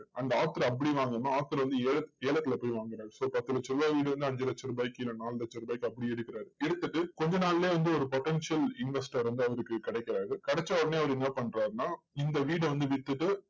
அந்த author அப்படி வாங்காம, author வந்து ஏலத்~ஏலத்துல போய் வாங்குகிறார் so பத்து லட்ச ரூபா வீடு வந்து அஞ்சு லட்சம் ரூபாய்க்கு இல்ல நாலு லட்ச ரூபாய்க்கு அப்படி எடுக்கிறார். எடுத்துட்டு கொஞ்ச நாளிலேயே வந்து ஒரு potential investor வந்து அவருக்கு கிடைக்கிறாரு. கிடைச்ச உடனே அவர் என்ன பண்றாருன்னா, இந்த வீட வந்து வித்துட்டு,